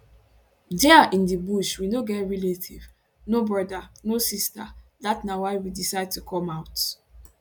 dia in di bush we no get relative no brother no sister dat na why we decide to come out